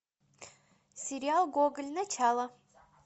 сериал гоголь начало